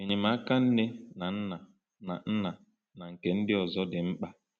Enyemaka nne na nna na nna na nke ndị ọzọ dị mkpa.